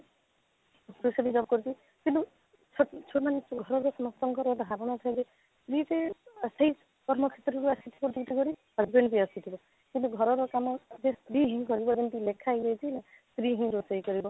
ପୁରୁଷଟେ ବି job କରୁଛି କିନ୍ତୁ ସେ ସେମାନେ ଘରେ ଯଉ ଲୋକଙ୍କର ଧାରଣା ସବୁ ୟେ ଯଉ ସେଇ କର୍ମ କ୍ଷେତ୍ରରୁ ଆସିଛି କାମ କରି husband ବି ଆସିଥିବେ କିନ୍ତୁ ଘରର କାମ ସ୍ତ୍ରୀ ହିଁ କରିବେ ଏମିତି ଲେଖା ହେଇ ଯାଇଛି ସ୍ତ୍ରୀ ହିଁ ରୋଷେଇ କରିବ